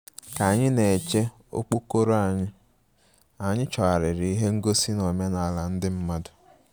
Ka anyị na-eche okpokoro anyị, anyị chọgharịrị ihe ngosi na omenala ndị mmadụ